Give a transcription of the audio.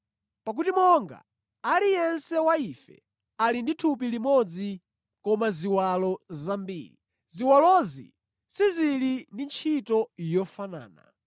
Pakuti monga aliyense wa ife ali ndi thupi limodzi koma ziwalo zambiri, ziwalozi sizili ndi ntchito yofanana.